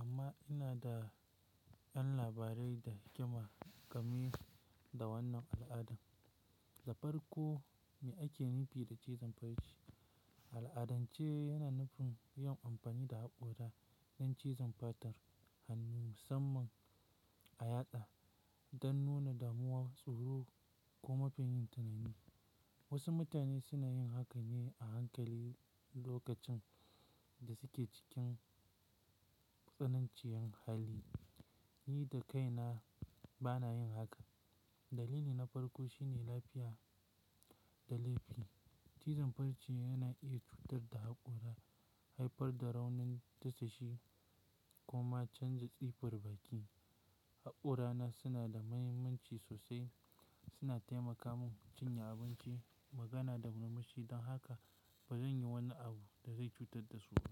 amma ina da ƴan labarai da kyamar game da wannan al'adan. Dafar ko me ake nufi da cizon barci? Al'adance yana nufin yin amfani da haƙora don cizon fatar, hannu musamman a yatsa don nuna damuwa, tsoro ko mafi yin tunani. Wasu mutane suna yin hakan ne a hankali lokacin da suke cikin tsananciyar hali. Ni da kaina ba na yin haka. Dalili na farko shine lafiya da laifi. Cizon barci yana iya cutar da haƙora, haifar da raunin tashe shi kuma canza tsifar baki. Haƙorana suna da mahimmanci sosai. Suna taimaka mun cinye abinci, magana da murmushi don haka ba zan yi wani abu da zai cutar da su ba.